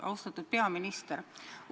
Austatud peaminister!